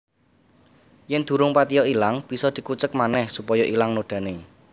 Yen durung patiya ilang bisa dikucek manéh supaya ilang nodané